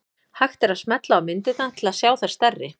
Hægt er að smella á myndirnar til að sjá þær stærri.